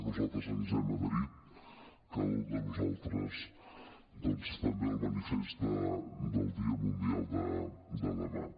nosaltres ens hem adherit cada un de nosaltres doncs també al manifest del dia mundial de demà